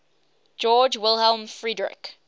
georg wilhelm friedrich